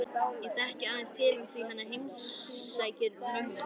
Ég þekki aðeins til hans því hann heimsækir mömmu